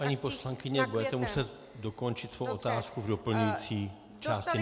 Paní poslankyně, budete muset dokončit svou otázku v doplňující části.